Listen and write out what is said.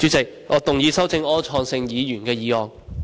主席，我動議修正柯創盛議員的議案。